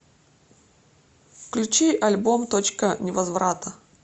включи альбом точка невозврата